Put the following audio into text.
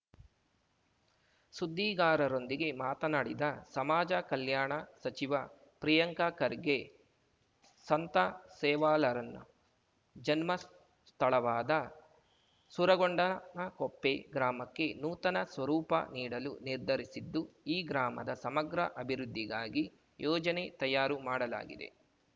ಸುದ್ದಿಗಾರರೊಂದಿಗೆ ಮಾತನಾಡಿದ ಸಮಾಜ ಕಲ್ಯಾಣ ಸಚಿವ ಪ್ರಿಯಾಂಕ ಖರ್ಗೆ ಸಂತ ಸೇವಾಲಾರನ್ನ ಜನ್ಮ ಸ್ಥಳವಾದ ಸೂರಗೊಂಡನಕೊಪ್ಪೆ ಗ್ರಾಮಕ್ಕೆ ನೂತನ ಸ್ವರೂಪ ನೀಡಲು ನಿರ್ಧರಿಸಿದ್ದು ಈ ಗ್ರಾಮದ ಸಮಗ್ರ ಅಭಿವೃದ್ಧಿಗಾಗಿ ಯೋಜನೆ ತಯಾರು ಮಾಡಲಾಗಿದೆ